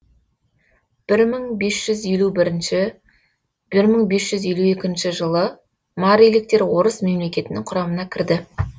бір мың бес жүз елу бірінші бір мың бес жүз елу екінші жылы мариліктер орыс мемлекетінің құрамына кірді